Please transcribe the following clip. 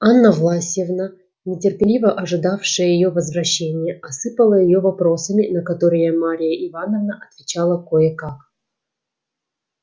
анна власьевна нетерпеливо ожидавшая её возвращения осыпала её вопросами на которые марья ивановна отвечала кое-как